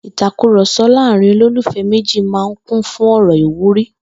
Ìtàkurò̩so̩ láàárín olólùfé̩ méjì máa kún fún ò̩rò̩ ìwúrí